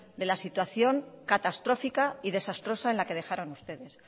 de la situación catastrófica y desastrosa en la que dejaron ustedes